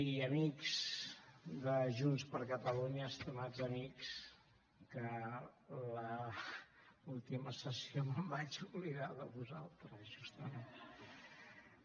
i amics de junts per catalunya estimats amics que a l’última sessió em vaig oblidar de vosaltres justament